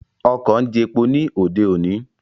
Ọkọ̀ ń jepo ní òde òní